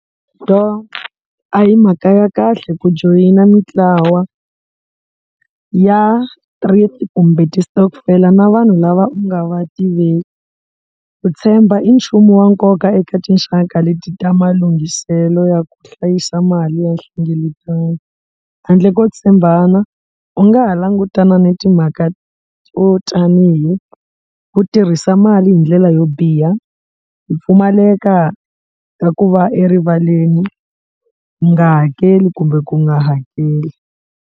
Do a hi mhaka ya kahle ku joyina mitlawa ya kumbe ti-stockvel-a na vanhu lava u nga va ku tshemba i nchumu wa nkoka eka tinxaka leti ta malunghiselo ya ku hlayisa mali ya nhlengeletano handle ko tshembana u nga ha langutana ni timhaka to tanihi ku tirhisa mali hi ndlela yo biha hi pfumaleka ka ku va erivaleni u nga hakeli kumbe ku nga hakeli.